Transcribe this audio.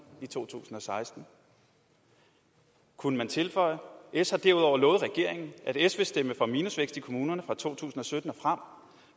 i 2016 kunne man tilføje s har derudover lovet regeringen at s vil stemme for minusvækst i kommunerne fra to tusind og sytten og frem